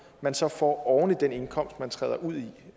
man så får oven i den indkomst man træder ud